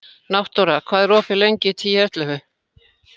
Náttúra, hvað er opið lengi í Tíu ellefu?